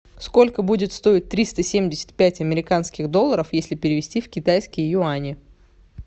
сколько будет стоить триста семьдесят пять американских долларов если перевести в китайские юани